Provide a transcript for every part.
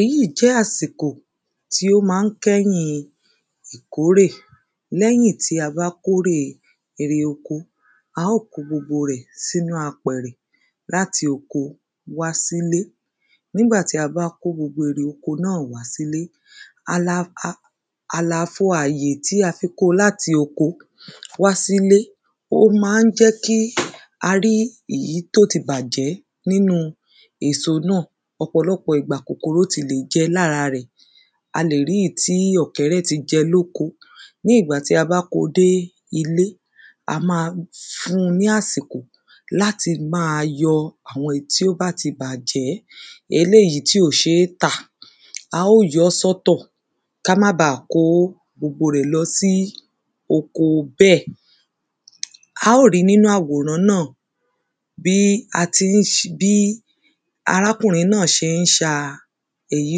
Èyí jẹ́ àsìkò tí ó má ń kẹ́yìn ìkórè lẹ́yìn tí a bá kórè oko á ó kó gbogbo rẹ̀ sínú àpẹ̀rẹ̀ láti oko wásílé. Nígbà tí a bá kó gbogbo erè oko náà wásílé a la àlàfo àyè tí a fi kó láti oko wásílé ó má ń jẹ́ kí a rí èyí tó ti bàjẹ́ nínú èso náà ọ̀pọ̀lọpọ̀ ìgbà kòkòrò ti lè jẹ lára rẹ̀. A lè rí èyí tí ọ̀kẹ́rẹ́ ti jẹ lóko. Ní ìgbà tí a bá kó dé ilé a ma fun ní àsìkò láti má yọ àwọn èyí tí ó bá ti bàjẹ́ eléèyí tí ò ṣé tà á ó yọ́ sọ́tọ̀ ká má ba kó gbogbo rẹ̀ lọ sí oko bẹ́ẹ̀. Á ó ri nínú àwòrán náà bí a ti ń bí a ti ń arákùnrin náà ṣé ń ṣa èyí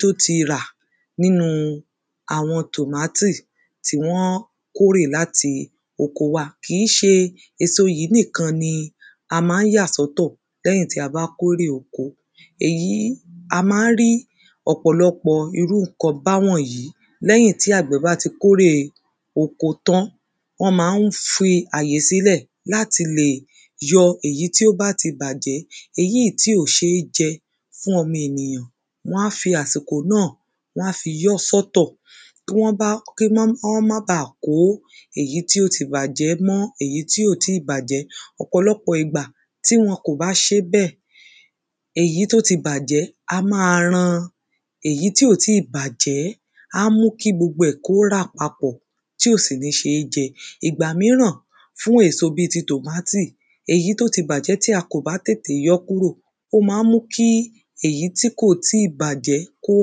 tó ti rà nínú àwọn tòmátì tí wọ́n kórè láti oko wá kìí ṣe èso yìí nìkan ni a má ń yà sọ́tọ̀ lẹ́yìn tí a bá kórè oko. Èyí a má ń rí ọ̀pọ̀lọpọ̀ irú nǹkan báwọ̀nyí lẹ́yìn tí àgbẹ̀ bá ti kórè oko tán wọ́n má ń fi àyè sílẹ̀ láti lè yọ èyí tí ó bá ti bàjẹ́ èyí tí ò ṣé jẹ fún ọmọ ènìyàn wọ́n á fi àsìkò náà wọ́n á fi yọ́ sọ́tọ̀ tí wọ́n bá kí wọ́n má ba kó èyí tí ó ti bàjẹ́ mọ́ èyí tí ò tí bàjẹ́. Ọ̀pọ̀lọpọ̀ ìgbà tí wọn kò bá ṣé bẹ́ẹ̀ èyí tó ti bàjẹ́ á má ran èyí tí ó ti bàjẹ́ á mú kí gbogbo ẹ̀ kí ó rà papọ̀ tí ò sì ní ṣé jẹ Fún èso bí ti tòmátì èso tí ó ti bàjẹ́ tí a bá tètè yọ́ kúrò ó má ń mú kí èyí tí ò tí bàjẹ́ kí ó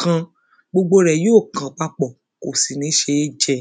kan gbogbo rẹ̀ yó kan papọ̀ kò sì ní ṣé jẹ.